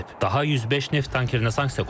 Daha 105 neft tankerində sanksiya qoyulub.